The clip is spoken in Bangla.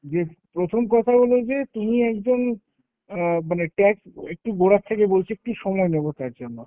যে প্রথম কথা হলো যে তিনি একজন অ্যাঁ মানে tag একটু গোড়ার থেকে বলছি, একটু সময় নেবো তার জন্য